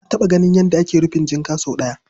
Na taɓa ganin yadda ake rufin jinka sau ɗaya.